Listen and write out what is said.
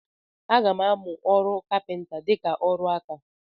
Aga m amụ ọrụ kapịnta dịka ọrụ aka.